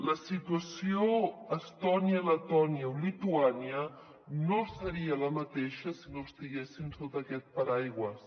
la situació a estònia letònia o lituània no seria la mateixa si no estiguessin sota aquest paraigua